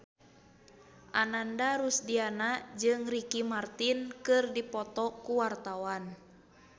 Ananda Rusdiana jeung Ricky Martin keur dipoto ku wartawan